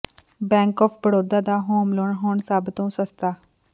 bank of Baroda ਦਾ home loan ਹੁਣ ਸਭ ਤੋਂ ਸਸਤਾ